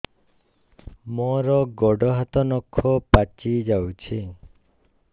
ମୋର ଗୋଡ଼ ହାତ ନଖ ପାଚି ଯାଉଛି